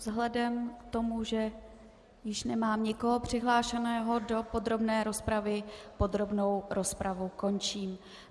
Vzhledem k tomu, že již nemám nikoho přihlášeného do podrobné rozpravy, podrobnou rozpravu končím.